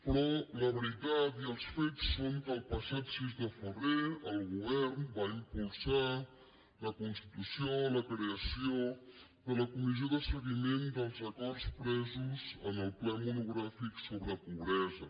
però la veritat i els fets són que el passat sis de febrer el govern va impulsar la constitució la creació de la comissió de seguiment dels acords presos en el ple monogràfic sobre pobresa